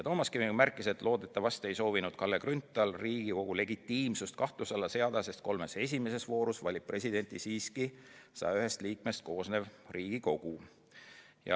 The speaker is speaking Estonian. Toomas Kivimägi märkis, et loodetavasti ei soovinud Kalle Grünthal Riigikogu legitiimsust kahtluse alla seada, sest kolmes esimeses voorus valib presidenti siiski 101 liikmest koosnev Riigikogu.